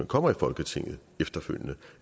kommer i folketinget